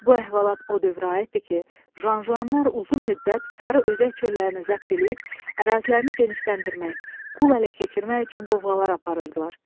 Bu əhvalat o dövrə aiddir ki, Janjanlar uzun müddət sarı özək çöllərini zəbt eləyib ərazilərini genişləndirmək, qul ələ keçirmək üçün qovğalar aparırdılar.